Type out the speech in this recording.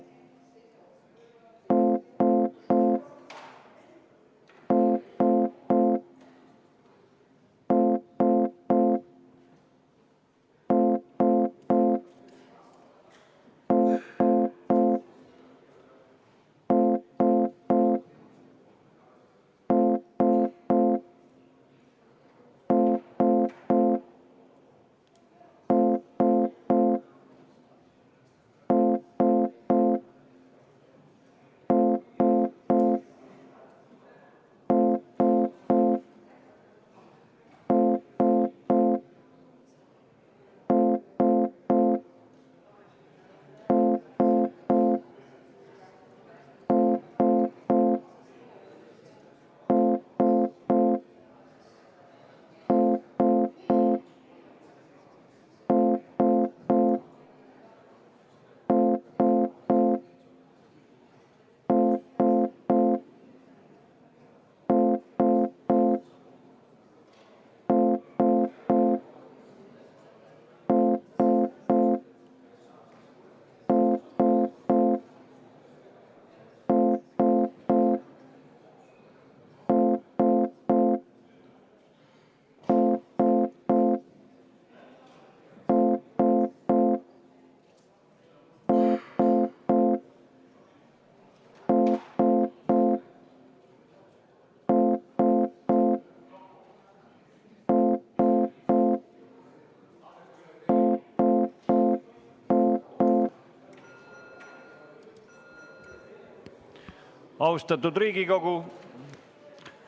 Austatud Riigikogu!